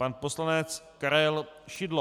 Pan poslanec Karel Šidlo.